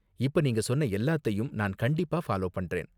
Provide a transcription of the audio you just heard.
இப்ப நீங்க சொன்ன எல்லாத்தையும் நான் கண்டிப்பா ஃபாலோ பண்றேன்.